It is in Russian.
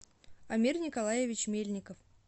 амир николаевич мельников